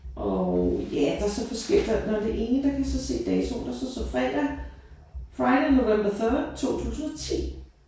Og ja der er så forskellige der nåh det ene der kan jeg så se datoen. Der står så fredag friday november third 2010